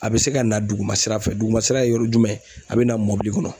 A bɛ se ka na duguma sira fɛ duguma sira ye yɔrɔ jumɛn a bɛ na mɔbili kɔnɔ.